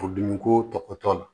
Furudimi ko tɔtɔ la